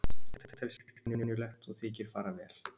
Nú telst slíkt venjulegt og þykir fara vel.